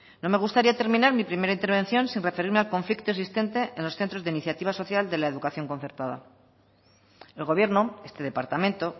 no me gustaría terminar mi primera intervención sin referirme al conflicto existente en los centros de iniciativa social de la educación concertada el gobierno este departamento